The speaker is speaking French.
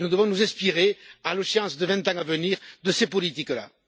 Nous devons nous inspirer, à l'échéance des vingt ans à venir, de ces politiques là.